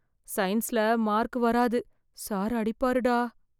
சயின்ஸ்ல மார்க் வராது, சார் அடிப்பாருடா.